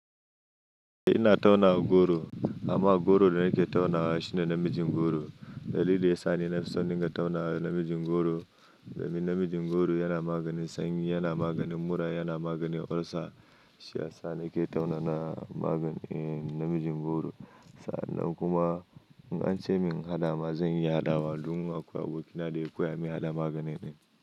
Eh ina tauna goro. Amma goron da nake tauna shine namijin goro. Da lilin da ya sani nafi son in tauna namijin goro. Domin namijin goro yana maganin sanyi, yana maganin mura, yana maganin olsa. Shi ya sa nake tauna na magani namijin goro. Sa'an nan kuma in ance min in hadama, zan yi hadawa. Duk mun haƙuwa bokina dai akuya mun yi hada maganin.